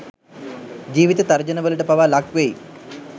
ජීවිත තර්ජන වලට පවා ලක් වෙයි